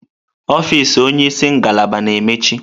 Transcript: Ọfịz onye isi ngalaba na-emechi.